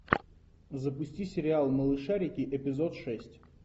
запусти сериал малышарики эпизод шесть